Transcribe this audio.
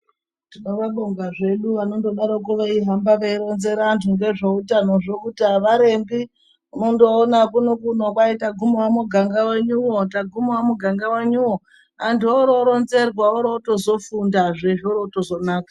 Tinobonga zvedu anondodaroko kuhamba veironzera antu ngezveutanozvo kuti aarembi wondoona kunokuno kwaitagumawo muganga wenyuwo, tagumawo muganga wenyuwo antu ororonzerwa orowo zotofundazve zvoroozotonaka